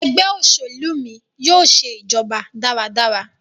Ẹgbẹ́ òṣèlú mí yóò ṣe ìjọba dára dára.